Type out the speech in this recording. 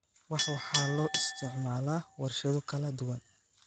Wax waxaa loo isticmaalaa warshado kala duwan